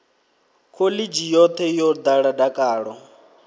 khoḽidzhi yoṱhe yo ḓala dakalo